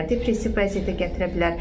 Depressiv vəziyyətə gətirə bilər.